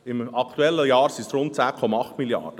Im aktuellen Jahr sind es 10,8 Mrd. Franken.